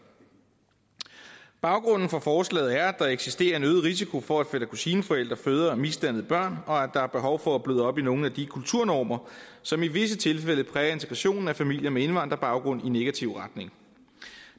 baggrunden for forslaget er at der eksisterer en øget risiko for at fætter kusine forældre føder misdannede børn og at der er behov for at bløde op på nogle af de kulturnormer som i visse tilfælde præger integrationen af familier med indvandrerbaggrund i negativ retning